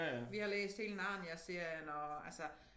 Vi har læst hele Narniaserien og altså